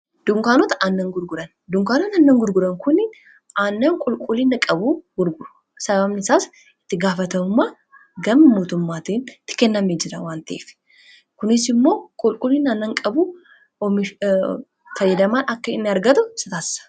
Dunkaanota aannan gurguran kun aannan qulqullina qabuu gurguru. sababni isaas itti gaafatamumma gama mootummaatiin itti kenname jira waan ta'eef. kunis immoo qulquliina aannan qabuf fayyadamaan akka in argatu sataassa